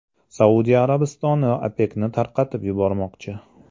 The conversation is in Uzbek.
Saudiya Arabistoni OPEKni tarqatib yubormoqchi.